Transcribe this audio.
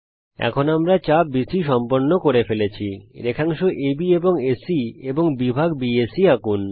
এখন আমরা চাপ বিসি সম্পন্ন করে ফেলেছি রেখাংশ আব এবং এসি এবং বিভাগ বিএসি আঁকুন